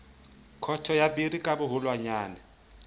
khoto ya biri ka boholwanyane